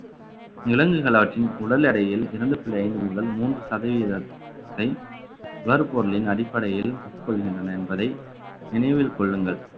விலங்குகள் அவற்றின் உடல் எடையில் இரண்டு புள்ளி ஐந்து முதல் மூன்று சதவீதத்தை வருபொருளின் அடிப்படையில் உட்கொள்கின்றன என்பதை நினைவில் கொள்ளுங்கள்